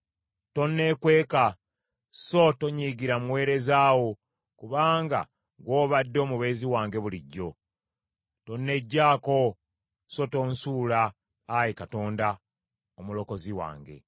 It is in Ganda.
Tonneekweka, so tonyiigira muweereza wo, kubanga ggw’obadde omubeezi wange bulijjo. Tonneggyaako, so tonsuula, Ayi Katonda, Omulokozi wange.